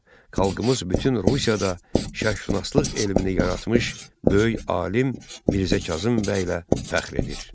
Xalqımız bütün Rusiyada şərqşünaslıq elmini yaratmış böyük alim Mirzə Kazım bəylə fəxr edir.